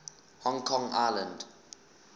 hong kong island